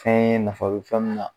Fɛn ye nafa be fɛn min na